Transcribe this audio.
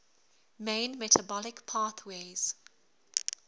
main metabolic pathways